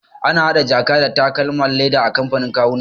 Ana hada jaka da takalman leda a kamfanin kawuna.